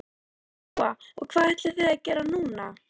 Lóa: Og hvað ætlið þið að gera núna?